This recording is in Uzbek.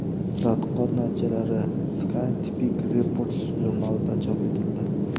Tadqiqot natijalari Scientific Reports jurnalida chop etildi.